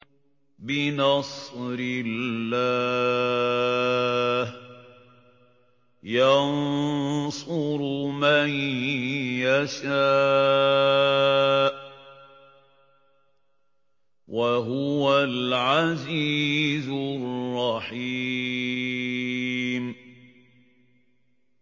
بِنَصْرِ اللَّهِ ۚ يَنصُرُ مَن يَشَاءُ ۖ وَهُوَ الْعَزِيزُ الرَّحِيمُ